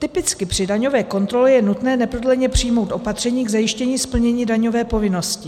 Typicky při daňové kontrole je nutné neprodleně přijmout opatření k zajištění splnění daňové povinnosti.